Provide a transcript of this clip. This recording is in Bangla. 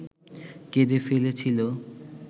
কেঁদে ফেলেছিল